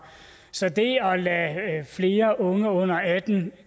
så det at lade flere unge under atten